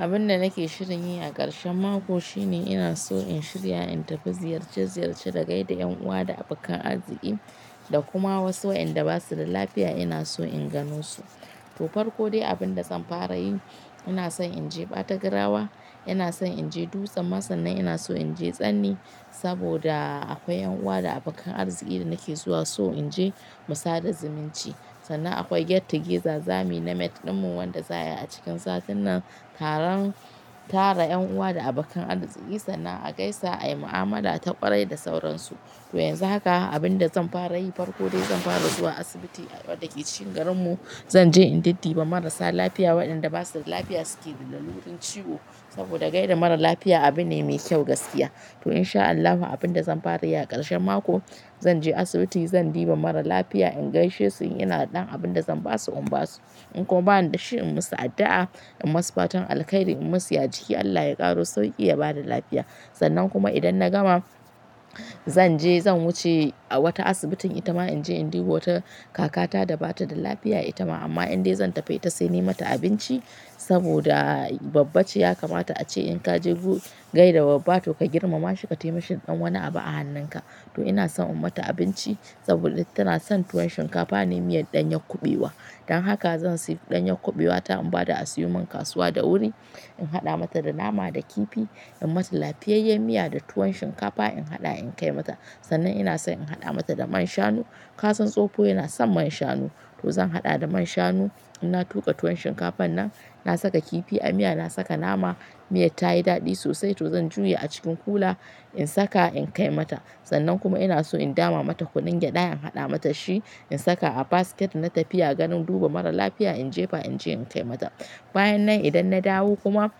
Abin da nake shirin yi a karshen mako shine ina so in shirya in tafi ziyarce-ziyarce da gaida yan uwa da abokan arziki da kuma wasu wayanda ba su da lafiya ina so in gano su. To farko dai abin da zan fara yi, ina so in je ɓata grawa, ina so in je dutsen ma sannan ina so in je tsani saboda akwai yan uwa da abokan arziki da nake zuwa so in je mu sada zumunci. Sannan akwai get together zamu yi na mat ɗinmu wanda za a yi a cikin satin nan taron-- tara yan uwa da abokan arziki sannan a gaisa a yi mu'amala ta ƙwarai da sauransu. To yanzu haka abin da zan fara yi farko dai zan fara zuwa asibiti da ke cikin garinmu zan je in diddi ba marasa lafiya waɗanda ba su da lafiya suke da lalurin ciwo saboda gaida mara lafiya abu ne mai kyau gaskiya. To in sha Allahu abin da zan fara yi a ƙarshen mako zan je asibiti zan diba mara lafiya in gaishe su, ina da ɗan abin da zan ba su in ba su. In kuwa ba ni da shi in musu addu'a in masu fatan alkhairi in musu ya jiki Allah ya ƙaro sauƙi ya bada lafiya. Sannan kuma idan na gama zan je zan wuce a wata asibitin itama in je in dibo wata kakata da ba ta da lafiya itama amma inda zan tafi ta sai ni mata abinci saboda babbaci ya kamata a ce in ka je ku gaida babbato ka girmama shi ka taimashi ɗan wani abu a hannunka. To ina son in mata abinci saboda tana son tuwon shinkafa ne miyar ɗanyar kuɓewa. Dan haka zan sayi ɗanyar kuɓewata in bada a sayo min kasuwa da wuri, in haɗa mata da nama da kifi, in mata lafiyayyen miya da tuwon shinkafa in haɗa in kai mata. Sannan ina so in haɗa mata da man shanu. Ka san tsofo yana son man shanu, to zan haɗa da man shanu. In na tuƙa tuwon shinkafan nan, na saka kifi a miya na saka nama, miya tayi daɗi sosai to zan juya a cikin kula in saka in kai mata. Sannan kuma ina so in dama mata kunin gyaɗa in haɗa mata shi in saka a basket na tafiya ganin duba mara lafiya in jefa in je in kai mata. Bayan nan idan na dawo kuma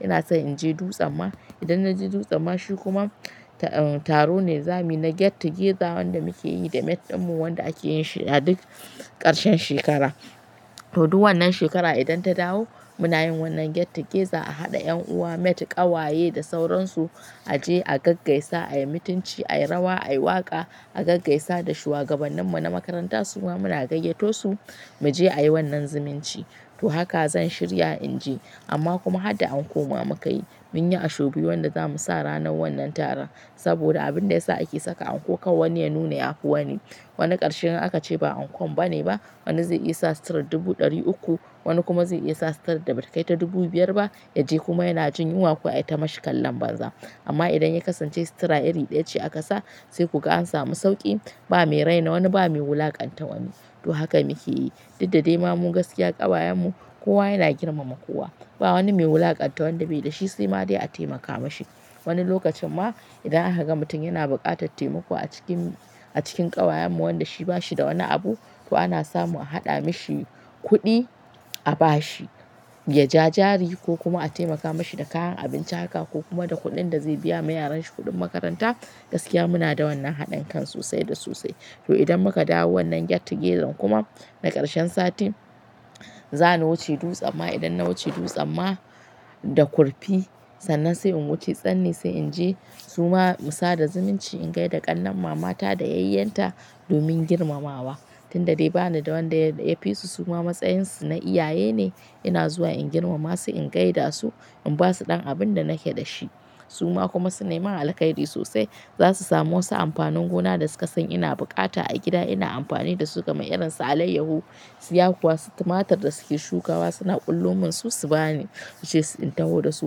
ina so in je dutsen ma. Idan na je dutsen ma shi kuma taro ne zamuyi na get together wanda mukiyi da met dinmu wanda mukiyi da met dinmu wanda akeyi shi a duk shekara to duk wannan shekara idan ta dawo muna yin wannan get together a haɗa yan uwa mat ƙawaye da sauransu, a je a gaggaisa, a yi mutunci, a yi rawa, a yi waƙa, a gaggaisa da shugabanninmu na makaranta suwa muna gayyato su mu je a yi wannan zumunci. To haka zan shirya in je. Amma kuma har da anko muka yi, mun yi ashobi wanda zamu sa ranar wannan taron saboda abin da ya sa ake saka anko kawu wani ya nuna ya kowa ni. Wani ƙarshen ran aka ce ba ankon ba ne ba, wani zai iya sa stirat dubu ɗari uku, wani kuma zai iya sa sitira da bata kai ta dubu biyar ba, ya je kuma yana jin yunwa kuwa a yi ta mashi kallan banza. Amma idan ya kasance sitira iri ɗaya ce aka sa sai kuka an samu sauƙi, ba mai raina wani ba mai wulakanta wani. To haka muke yi. Diddade ma mun gaskiya ƙawayenmu kowa yana girmama kowa. Ba wani mai wulakanta wanda bai da shi sai ma dai a taimaka mashi. Wani lokacin ma idan an haka mutum yana buƙatar taimako a cikin, a cikin ƙawayenmu wanda shi ba shi da wani abu to ana samu a haɗa mashi kuɗi a bashi ya ja jari ko kuma a taimaka mashi da kayan abinci haka ko kuma da kuɗin da zai biya ma yaranshi kuɗin makaranta. Gaskiya muna da wannan haɗinkan sosai da sosai. To idan muka dawo wannan get together kuma na ƙarshen sati, za ni wuce dutsen ma idan na wuce dutsen ma da kurfi sannan sai in wuce tsani sai in je suwa mu sada zumunci in gaida ƙannan mama ta da yayyenta domin girmamawa. Tinda dai ba ni da wanda ya, ya fi su su ma matsayin su na iyaye ne ina zuwa in girmama su in gaida su in ba su ɗan abun da nake da shi. Su ma kuma sun nemi alkhairi sosai za su sami wasu amfanin gona da su ka san ina buƙata a gida ina amfani da su kamar irin su alayyahu, suya kuwa, su tumatir da suke shukawa suna kullumin su, su ba ni. Su ce in taho da su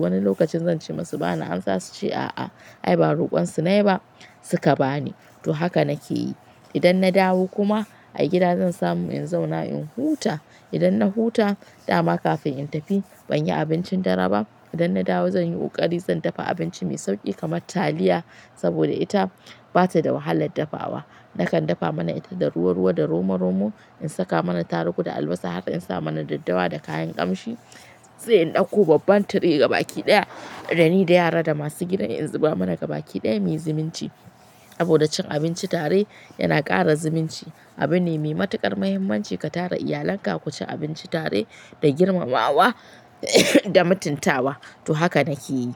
wani lokacin zan ce masu ba na amsa su ce a'a. Ai ba ruƙon su ne ba, su ka ba ni. To haka nake yi. Idan na dawo kuma a gida zan samu in zauna in huta. Idan na huta dama kafin in tafi ban yi abincin dare ba. Idan na dawo zan yi ƙari zan dafa abinci mai sauƙi kamar taliya saboda ita bata da wahalar dafawa. Nakan dafa mana ita da ruwa-ruwa da romo-romo, in saka mana tarugu da albasa har in sa mana daddawa da kayan ƙamshi. Sai in ɗauko babban tire gabaki ɗaya dani da yara da masu gidan in zuba mana gabaki ɗaya mai zumunci. Saboda cin abinci tare yana ƙara zumunci. Abu ne mai matuƙar muhimmanci ka tara iyalanka ku ci abinci tare da girmamawa da mutuntawa. To haka nake yi.